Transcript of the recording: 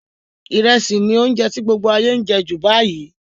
Ìrẹsì ni ounje ti gbogbo ayé n je ju báyìí